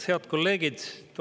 Head kolleegid!